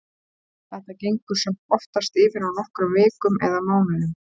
Þetta gengur samt oftast yfir á nokkrum vikum eða mánuðum.